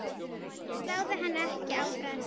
Sláðu henni ekki á frest.